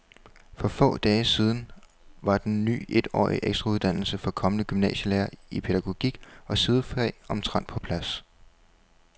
For få dage siden var den ny etårige ekstrauddannelse for kommende gymnasielærere i pædagogik og sidefag omtrent på plads.